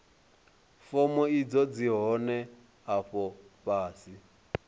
fomo idzo dzi hone afho fhasi